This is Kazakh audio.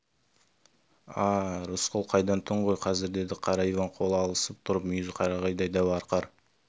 а-а рысқұл қайдан түн ғой қазір деді қара иван қол алысып тұрып мүйізі қарағайдай дәу арқар